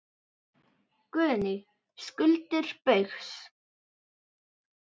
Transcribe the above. Guðný: Skuldir Baugs?